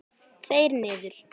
Tveir niður.